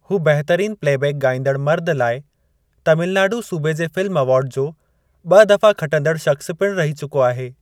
हू बहितरीन प्लेबैक ॻाईंदड़ मर्दु लाइ तमिलनाडु सूबे जे फ़िल्म अवार्ड जो ॿ दफ़ा खटंदड़ु शख़्स पिणु रही चुको आहे।